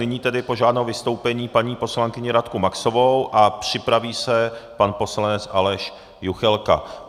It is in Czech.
Nyní tedy požádám o vystoupení paní poslankyni Radku Maxovou a připraví se pan poslanec Aleš Juchelka.